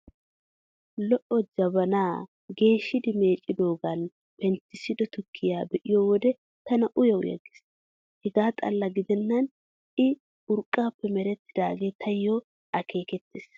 Lo''o jabanaa geeshidi meeccidoogaani penttissido tukkiyaa be'iyo wode tana uya uya gees. Hegaa xalla gidennan I urqqaappe merettidoogee taayyo akeekettees.